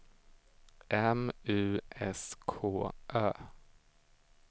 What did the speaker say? M U S K Ö